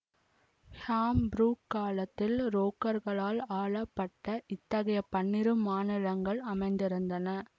ஹாம் புரூக் காலத்தில் ப்ரேக்களால் ஆளப்பட்ட இத்தகைய பன்னிரு மாநிலங்கள் அமைந்திருந்தன